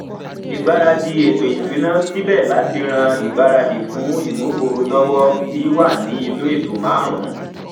ìgbáradì eto isuna síbè láti rán ìgbáradì fún imú gbòrò lowo bí wá ní inú eto marun